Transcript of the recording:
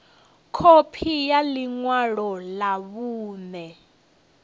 khophi ya ḽi ṅwalo ḽa vhuṋe